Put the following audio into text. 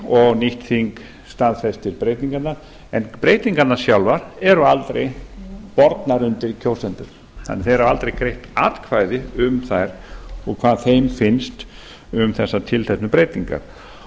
og nýtt þing staðfestir breytingarnar en breytingarnar sjálfar eru aldrei bornar undir kjósendur þannig að þeir hafa aldrei greitt atkvæði um þær og hvað þeim finnst um þessar tilteknu breytingar